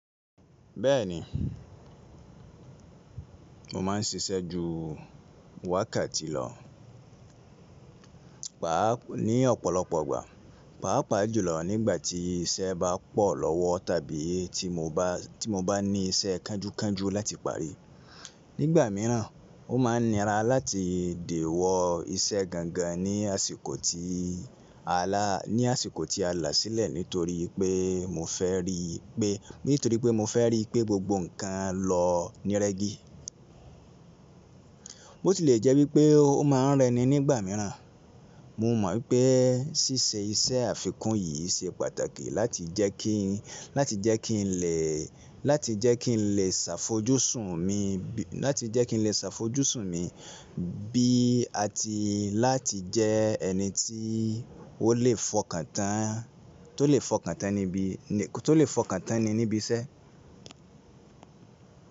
Bẹ́ẹ̀ni, mo má ń ṣiṣẹ́ ju wákàtí lọ. Pàá ní ọ̀pọ̀lọpọ̀ ìgbà, pàá pàá jùlọ nígbà tí iṣẹ́ bá pọ̀ lọ́wọ́ tàbí tí mo bá ní iṣẹ́ kánjúkánjú láti parí. Nígbà míràn, ó má ń nira láti dè wọ iṣẹ́ gangan ní àsìkò ti ní àsìkò tí a là sílẹ̀ nítorí pé mo fẹ́ rí pé nítorí pé mo fẹ rí pé gbogbo ǹkan lọ nírẹ́gí. Bó tilẹ̀ jẹ́ wípé ó ma ń rẹni nígbà míràn, mo mọ̀ wípé ṣíṣe iṣẹ́ àfikún yìí ṣe pàtàkì láti jẹ kí láti jẹ́ kí n lè ṣàfojúsùn mi bí àti láti jẹ́ ẹni tí ó lè fọkàntán tí ó lè f'okan tan ni níbi iṣẹ́.